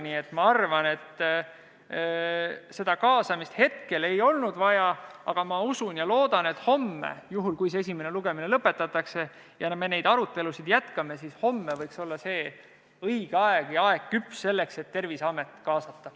Nii et ma arvan, et seda kaasamist hetkel ei olnud vaja, aga ma usun ja loodan, et homme – juhul kui esimene lugemine lõpetatakse ja me neid arutelusid jätkame – võiks olla see õige aeg, aeg võiks olla küps selleks, et Terviseamet kaasata.